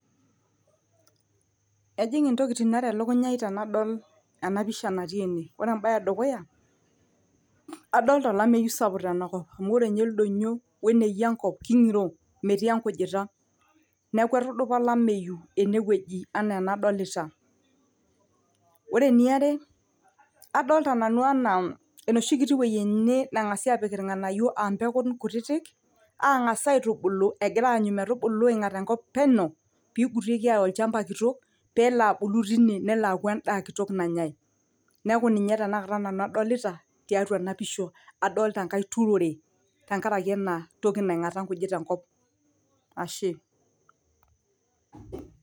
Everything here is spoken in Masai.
ejing intokiting are elukunya ai tenadol ena pisha natii ene ore embaye edukuya adolta olameyu sapuk tenakop amu ore inye ildonyio weneyia enkop king'iro metii enkujita neku etudupa olameyu enewueji enaa enadolita ore eniare adolta nanu anaa enoshi kiti wueji ene neng'asi apik irng'anayio ampekun kutitik ang'as aitubulu egira aanyu metubulu aing'at enkop peno pigutieki aya olchamba kitok pelo abulu tine nelo aaku endaa kitok nanyae neku ninye tenakata nanu adolita tiatua ena pisha adolta enkae turore tenkaraki ena toki naing'ata inkujit enkop ashe.